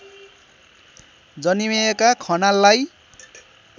जन्मिएका खनाललाई